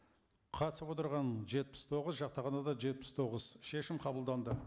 қатысып отырған жетпіс тоғыз жақтағандар да жетпіс тоғыз шешім қабылданды